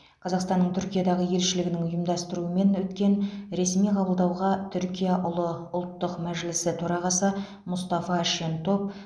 қазақстанның түркиядағы елшілігінің ұйымдастыруымен өткен ресми қабылдауға түркия ұлы ұлттық мәжілісі төрағасы мұстафа шентоп